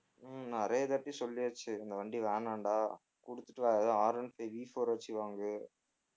உம் நிறையாதாட்டி சொல்லியாச்சு இந்த வண்டி வேணான்டா குடுத்துட்டு வேற எதா Rone fiveVfour ஆச்சு வாங்கு